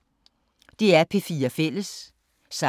DR P4 Fælles